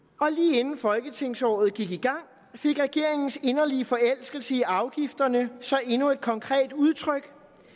lige inden folketingsåret gik i gang fik regeringens inderlige forelskelse i afgifterne så endnu et konkret udtryk